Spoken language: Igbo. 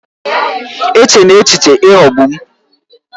Echela echiche ịghọgbu m!